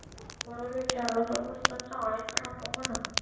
म्हणून विचारले असता चाळीत राहतो म्हणा